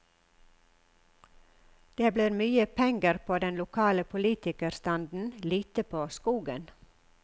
Det blir mye penger på den lokale politikerstanden, lite på skogen.